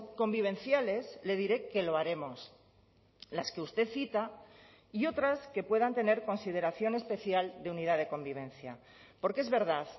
convivenciales le diré que lo haremos las que usted cita y otras que puedan tener consideración especial de unidad de convivencia porque es verdad